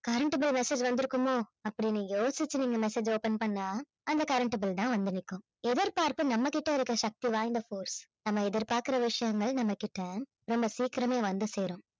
current bill message வந்து இருக்குமோ அப்படின்னு யோசிச்சு நீங்க mesasge அ open பண்ணா அந்த current bill தான் வந்து நிக்கும். எதிர்ப்பார்ப்பு நம்ம கிட்ட இருக்கிற சக்தி வாய்ந்த force நம்ம எதிர்பார்க்கிற விஷயங்கள் நம்ம கிட்ட ரொம்ப சீக்கிரமே வந்து சேரும்